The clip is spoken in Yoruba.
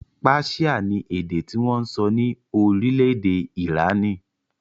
Páṣíà ni èdè tí wọn ń sọ ní orílẹ̀-èdè Ìránì